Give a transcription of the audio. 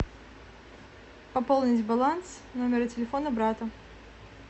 пополнить баланс номера телефона брата